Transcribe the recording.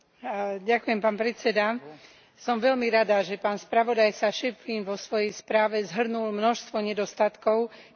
Som veľmi rada, že pán spravodajca Schöpflin vo svojej správe zhrnul množstvo nedostatkov Európskej občianskej iniciatívy.